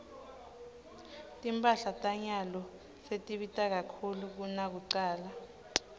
timphahla tanyalo setibita kakhulu kunakucala